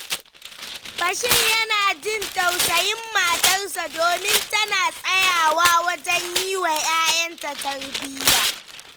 Bashir yana jin tausayin matarsa, domin tana tsayawa wajen yi wa ‘ya’yanta tarbiyya.